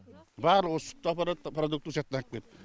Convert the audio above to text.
барлығы сүтті апаратта продуктіні со яқтан ап келеді